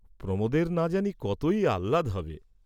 প্রমােদের না জানি কতই আহ্লাদ হবে?